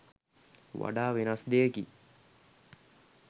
වඩා වෙනස් දෙයකි.